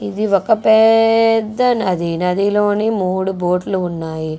ఇది ఒక పెద్ద నది. నదిలోని మూడు బోట్ లు ఉన్నాయి.